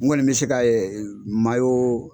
N kɔni bɛ se ka